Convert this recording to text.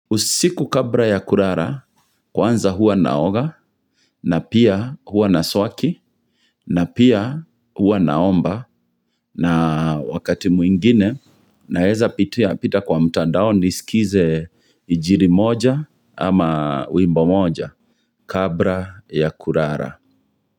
Usiku kabla ya kulala kwanza huwa naoga na pia huwa na swaki na pia huwa naomba na wakati mwingine naeza pitia pitia kwa mtandao ni skize injiri moja ama wimbo moja kabla ya kulala.